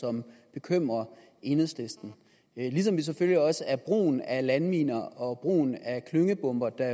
som bekymrer enhedslisten ligesom det selvfølgelig også er brugen af landminer og brugen af klyngebomber der